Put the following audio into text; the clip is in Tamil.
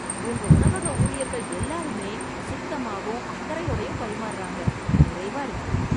உங்க உணவக ஊழியர்கள் எல்லாருமே சுத்தமாவும் அக்கறையோடயும் பரிமாறுறாங்க. நிறைவா இருக்கு.